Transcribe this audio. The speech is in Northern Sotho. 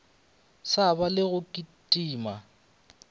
sa ba le go kitima